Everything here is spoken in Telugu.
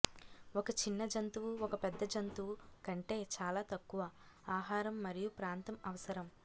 ఒక చిన్న జంతువు ఒక పెద్ద జంతువు కంటే చాలా తక్కువ ఆహారం మరియు ప్రాంతం అవసరం